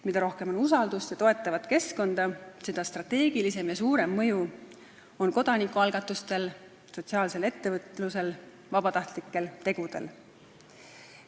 Mida rohkem on usaldust ja toetavat keskkonda, seda strateegilisem ja suurem mõju on kodanikualgatustel, sotsiaalsel ettevõtlusel, vabatahtlikel tegudel.